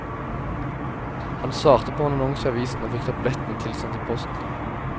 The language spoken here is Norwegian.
Han svarte på en annonse i avisen og fikk tablettene tilsendt i posten.